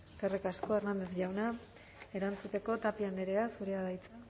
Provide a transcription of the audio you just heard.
eskerrik asko hernández jauna erantzuteko tapia andrea zurea da hitza